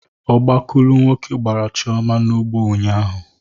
Ọgbakulu nwoke gbara Chioma n'ụgbọ ụnyaahụ